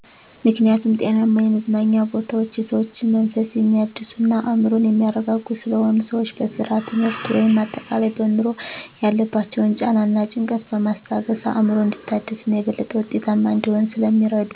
ምክኒያቱም ጤናማ የመዝናኛ ቦታወች የሰዎችን መንፈስ የሚያድሱ እና አዕምሮን የሚያረጋጉ ስለሆኑ። ሰወች በስራ፣ ትምህርት ወይም አጠቃላይ በኑሮ ያለባቸውን ጫና እና ጭንቀትን በማስታገስ አዕምሮ እንዲታደስ እና የበለጠ ውጤታማ እንዲሆን ስለሚረዱ።